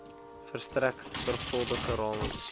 verstrek sorgvuldige ramings